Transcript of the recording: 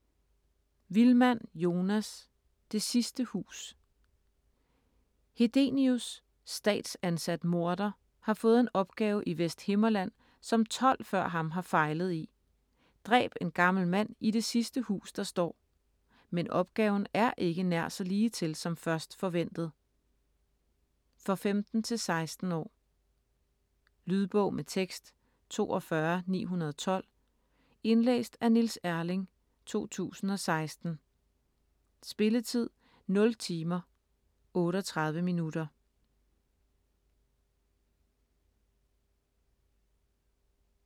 Wilmann, Jonas: Det sidste hus Hedenius, statsansat morder, har fået en opgave i Vesthimmerland, som 12 før ham har fejlet i: dræb en gammel mand i det sidste hus der står. Men opgaven er ikke nær så ligetil som først forventet. For 15-16 år. Lydbog med tekst 42912 Indlæst af Niels Erling, 2016. Spilletid: 0 timer, 38 minutter.